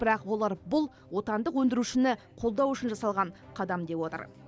бірақ олар бұл отандық өндірушіні қолдау үшін жасалған қадам деп отыр